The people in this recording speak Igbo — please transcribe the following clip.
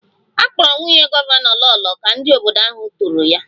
A kpọrọ nwunye gọvanọ Lolo ka ndị obodo ahụ toro ya